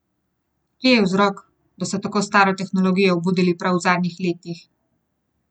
Kje je vzrok, da so tako staro tehnologijo obudili prav v zadnjih letih?